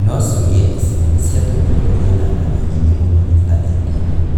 no ciũria icio nĩ ciatũmire kũgĩe na ng'ano nyingĩ mũno Intaneti-inĩ.